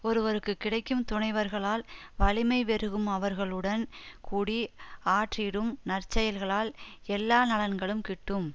ஒருவருக்கு கிடைக்கும் துணைவர்களால் வலிமை பெருகும் அவர்களுடன் கூடி ஆற்றிடும் நற்செயல்களால் எல்லா நலன்களும் கிட்டும்